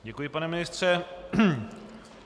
Děkuji, pane ministře.